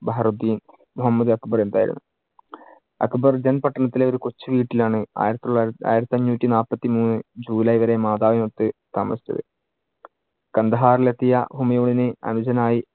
ബഹ്‌റുദ്ധീൻ മുഹമ്മദ് അക്ബർ എന്നായിരുന്നു. അക്ബർ ദെൻ പട്ടണത്തിലെ ഒരു കൊച്ചുവീട്ടിൽ ആണ് ആയിരത്തിതൊള്ളാ~ ആയിരത്തിയഞ്ഞൂട്ടി നാല്പത്തി മൂന്ന് ജൂലൈ വരെ മാതാവിനൊത്ത് താമസിച്ചത്. കാണ്ഡഹാറിൽ എത്തിയ ഹുമയൂണിന് അനുജനായി